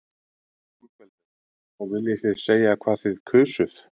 Ingveldur: Og viljið þið segja hvað þið kusuð?